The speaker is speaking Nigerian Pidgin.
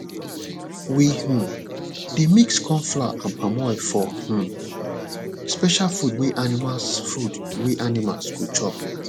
we um dey mix corn flour and palm oil for um special food wey animals food wey animals go chop